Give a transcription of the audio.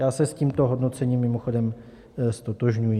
Já se s tímto hodnocením mimochodem ztotožňuji.